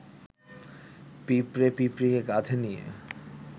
পিঁপড়ে পিঁপড়ীকে কাঁধে নিয়ে